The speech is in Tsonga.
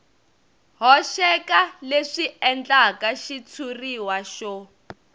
hoxeka leswi endlaka xitshuriwa xo